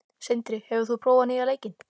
Sindri, hefur þú prófað nýja leikinn?